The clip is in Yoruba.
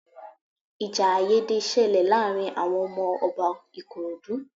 Ìjà àìyédè ṣẹlẹ̀ láàárín àwọn ọmọ Ọba Ikorodu